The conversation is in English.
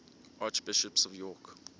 archbishops of york